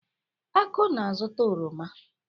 Aku na-azuta oroma.